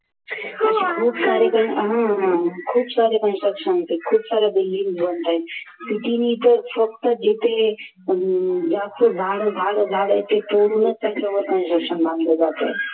अशे खूप सारे Construction आहेत building बनताहेत फक्त जिथे जास्त झाड झाड झाड ते तोडूनच त्याच्यावर Construction बांधलं जातंय